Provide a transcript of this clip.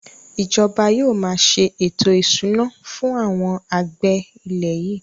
Ìjọba máa se ètò ìṣúná fún àwọn àgbẹ̀ ilẹ̀ yìí